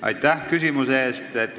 Aitäh küsimuse eest!